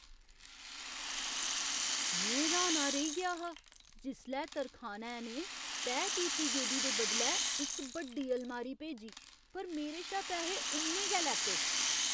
में र्हाना रेही गेआ हा जिसलै तरखानै ने तैऽ कीती गेदी दे बदलै इक बड्डी अलमारी भेजी, पर मेरे शा पैहे उन्ने गै लैते।